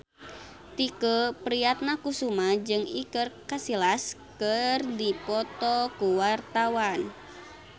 Tike Priatnakusuma jeung Iker Casillas keur dipoto ku wartawan